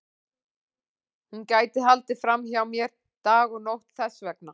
Hún gæti haldið fram hjá mér dag og nótt þess vegna.